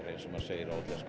eins og maður segir á útlensku